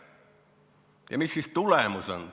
Ja mis siis tulemus on?